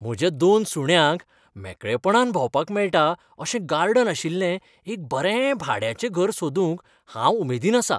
म्हज्या दोन सुण्यांक मेकळेपणान भोंवपाक मेळटा अशें गार्डन आशिल्लें एक बरें भाड्याचें घर सोदूंक हांव उमेदीन आसा.